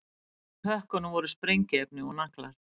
Í pökkunum voru sprengiefni og naglar